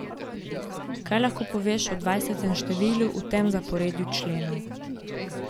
Kaj lahko poveš o dvajsetem številu v tem zaporedju členov?